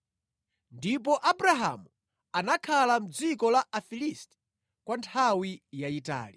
Ndipo Abrahamu anakhala mʼdziko la Afilisti kwa nthawi yayitali.